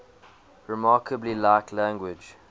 remarkably like language